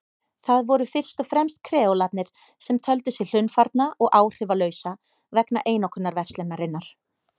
Það voru fyrst og fremst kreólarnir sem töldu sig hlunnfarna og áhrifalausa vegna einokunarverslunarinnar.